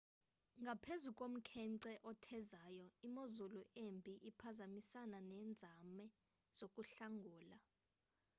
ngaphezu komkhenkce othezayo imozulu embi ibiphazamisana nenzame zokuhlangula